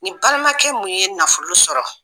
Ni balimakɛ mun ye nafolo sɔrɔ.